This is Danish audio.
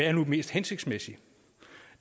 er mest hensigtsmæssigt